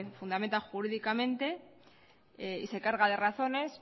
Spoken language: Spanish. fundamenta jurídicamente y se carga de razones